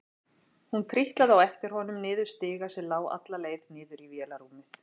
Hún trítlaði á eftir honum niður stiga sem lá alla leið niður í vélarrúmið.